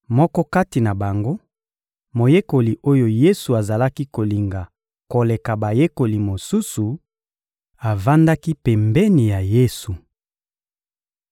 Moko kati na bango, moyekoli oyo Yesu azalaki kolinga koleka bayekoli mosusu, avandaki pembeni ya Yesu.